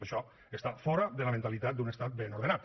això està fora de la mentalitat d’un estat ben ordenat